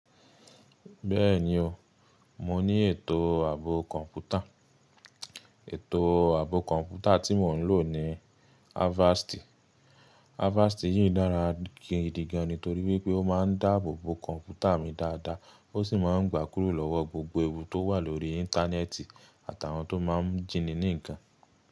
Bẹ́ẹ̀ni o, mo ní ètò ààbò kọ̀ǹpútà. Ètò ààbò kọ̀ǹpútà tí mo ń lò ni Avast. Avast yìí dára gidi gan-an torí wípé ó máa ń dáàbò bo kọ̀ǹpútà mi dáadáa, ó sì máa ń gbà kúrò lọ́wọ́ gbogbo ewu tó wà lórí Íńtánẹ́ẹ̀tì àtàwọn tó máa ń jìnnì ní nǹkan.